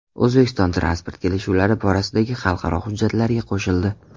O‘zbekiston transport kelishuvlari borasidagi xalqaro hujjatlarga qo‘shildi.